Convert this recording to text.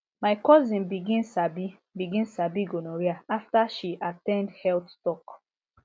my cousin begin sabi begin sabi gonorrhea after she at ten d health talk